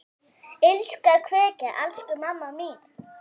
HINSTA KVEÐJA Elsku mamma mín.